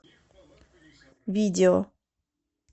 видео